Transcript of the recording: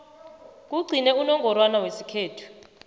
kugcine unongorwana wesikhethu